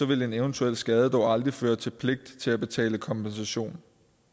vil en eventuel skade dog aldrig føre til en pligt til at betale kompensation